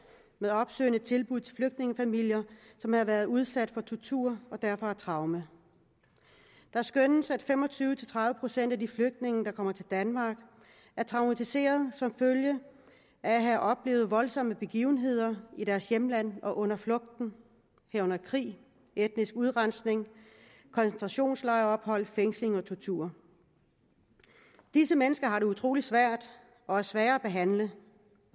med opsøgende tilbud til flygtningefamilier som har været udsat for tortur og derfor har traumer det skønnes at fem og tyve til tredive procent af de flygtninge der kommer til danmark er traumatiserede som følge af at have oplevet voldsomme begivenheder i deres hjemland og under flugten herunder krig etnisk udrensning koncentrationslejrophold fængsling og tortur disse mennesker har det utrolig svært og er svære at behandle